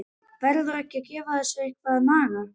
Verður ekki að gefa þessu eitthvað að naga?